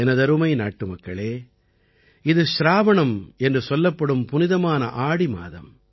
எனதருமை நாட்டுமக்களே இது ச்ராவணம் என்று சொல்லப்படும் புனிதமான ஆடி மாதம்